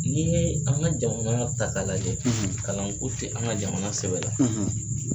Ni ye an ka jamana ta lajɛ kalanko tɛ an ka jamana sɛbɛ la